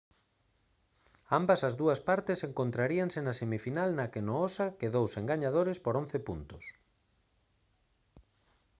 ambas as dúas partes encontraríanse na semifinal na que noosa quedou sen gañadores por 11 puntos